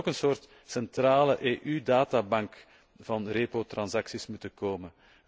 Er zou ook een soort centrale EU databank van repo transacties moeten komen.